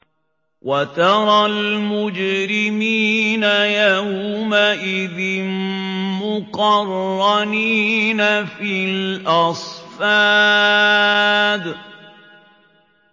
وَتَرَى الْمُجْرِمِينَ يَوْمَئِذٍ مُّقَرَّنِينَ فِي الْأَصْفَادِ